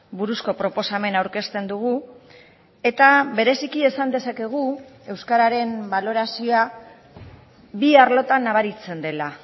buruzko proposamena aurkezten dugu eta bereziki esan dezakegu euskararen balorazioa bi arlotan nabaritzen dela